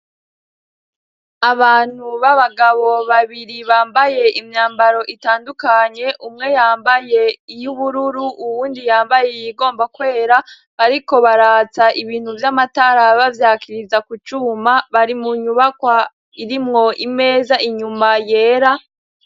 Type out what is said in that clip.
Abantu b'abagabo babiri bambaye imyambaro itandukanye umwe yambaye iyo i bururu uwundi yambaye yigomba kwera, ariko baratsa ibintu vy'amataraba vyakiriza kucuma bari mu nyubakwa irimwo imeza inyuma yera.